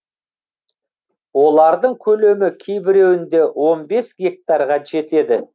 олардың көлемі кейбіреуінде он бес гектарға жетеді